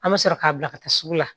An bɛ sɔrɔ k'a bila ka taa sugu la